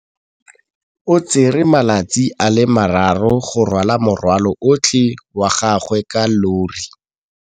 O tsere malatsi a le marraro go rwala morwalo otlhe wa gagwe ka llori.